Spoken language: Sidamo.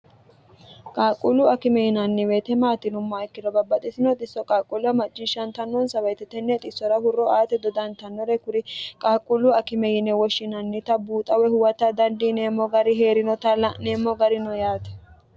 qaaqquullu akime yinanni weete maati yinummaha ikkiro babbaxitino xissora qaaqquulla macciishshantannonsa woyite tenne xissora hurro aate dodantannore kuri qaaqquullu akime yine woshshinannita buuxa woy huwata dandiineemmo gari hee'rinota la'neemmo garino yaate